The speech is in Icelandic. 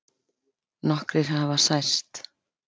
Nokkrir hafi særst